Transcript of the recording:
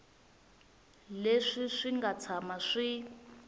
leswi swi nga tshama swi